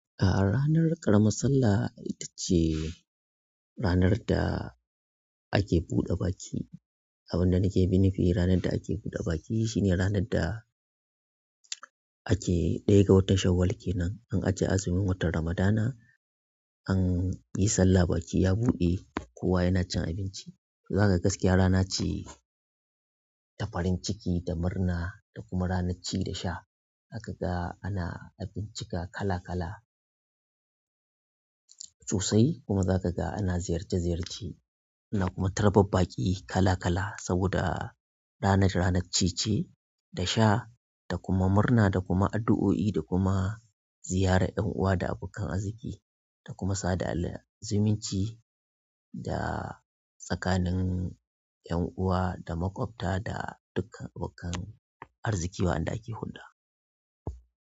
A ranar ƙaramar sallah ita ce ranar da ake buɗe baki. Abin da nake nufi ranar da ake buɗe baki shine ranar da ake ɗaya ga watan Shawwal kenan. An ajiye azumin watan Ramadana, an yi sallah baki ya buɗe, kowa yana cin abinci. Za kaga gaskiya rana ce ta farin ciki, ta murna da kuma ranar ci da sha. Za kaga ana abinci kala-kala sosai, kuma zaka ga ana ziyarce-ziyarce, ana kuma tarbar baƙi kala-kala saboda ranar, ranar ci ce da sha da kuma murna da kuma addu'o'i da kuma ziyarar 'yan uwa da abokan arziki, da kuma sada alher zumunci da tsakanin 'yan uwa da maƙwabta da dukkan abokan arziki wa'anda ake hulɗa.